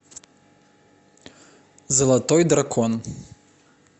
золотой дракон